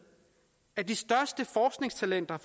at de største forskningstalenter